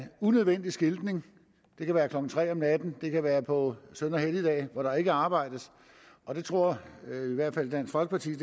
en unødvendig skiltning det kan være klokken tre om natten det kan være på søn og helligdage hvor der ikke arbejdes og det tror vi i hvert fald i dansk folkeparti